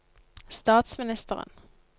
statsministeren